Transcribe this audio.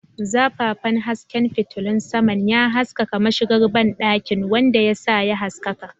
Zafafan hasken fitilun saman ya haskaka mashigar banɗakin, wanda ya sa ya haskaka.